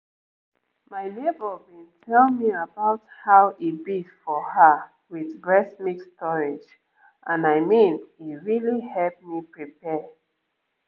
my neighbor been tell me about how e be for her with breast milk storage and i mean e really help me prepare